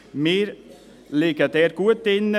Wir liegen dort gut drin.